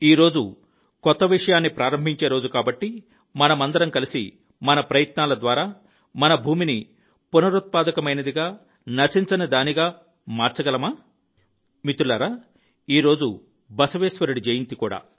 ఈ రోజు క్రొత్తదాన్ని ప్రారంభించే రోజు కాబట్టి మనమందరం కలిసి మన ప్రయత్నాల ద్వారా మన భూమిని పునరుత్పాదకమైనదిగా నశించనిదిగా మార్చగలమా మిత్రులారా ఈ రోజు బసవేశ్వరుడి జయంతి